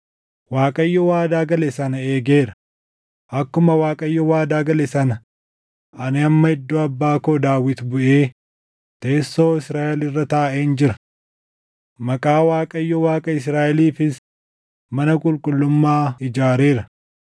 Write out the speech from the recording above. “ Waaqayyo waadaa gale sana eegeera; akkuma Waaqayyo waadaa gale sana ani amma iddoo abbaa koo Daawit buʼee teessoo Israaʼel irra taaʼeen jira; Maqaa Waaqayyo Waaqa Israaʼeliifis mana qulqullummaa ijaareera.